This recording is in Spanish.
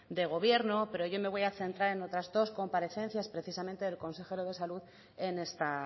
de gobierno pero yo me voy a centrar en otras dos comparecencias precisamente del consejero de salud en esta